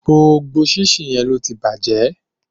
Gbogbo síńsiǹ yẹn ló tí bàjẹ́.